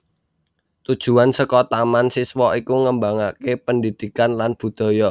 Tujuan saka Taman Siswa iku ngembangaké pendhidhikan lan budhaya